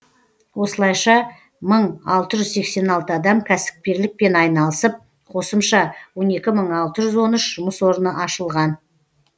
осылайша мың алты жүз сексен алты адам кәсіпкерлікпен айналысып қосымша он екі мың алты жүз он үш жұмыс орны ашылған